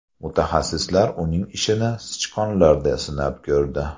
Mutaxassislar uning ishini sichqonlarda sinab ko‘rdi.